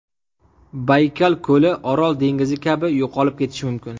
Baykal ko‘li Orol dengizi kabi yo‘qolib ketishi mumkin.